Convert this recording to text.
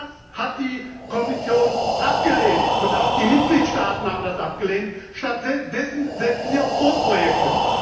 Das hat die Kommission abgelehnt und auch die Mitgliedstaaten haben das abgelehnt, stattdessen setzen sie auf Großprojekte.